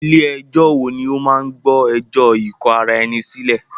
Ilé ẹ̀jọ wo ní o máà gbọ́ ẹjọ́ ikò ará ẹni sílẹ̀?